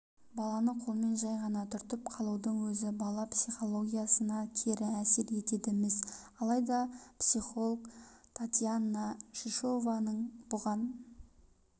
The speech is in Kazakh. баланы қолмен жай ғана түртіп қалудың өзі бала пихологиясына кері әсер етеді-міс алайда психолгтатьяна шишованың бұған